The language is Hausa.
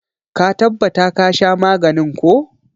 Ka tabbata ka sha maganin ko!